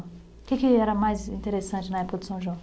O que que era mais interessante na época do São João?